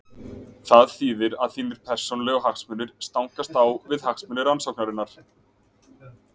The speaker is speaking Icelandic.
Það þýðir að þínir persónulegu hagsmunir stangast á við hagsmuni rannsóknarinnar.